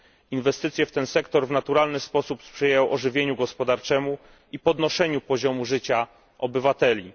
Inwestycje w ten sektor w naturalny sposób sprzyjają ożywieniu gospodarczemu i podnoszeniu poziomu życia obywateli.